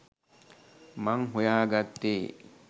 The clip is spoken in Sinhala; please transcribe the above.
මං හොයාගත්තේ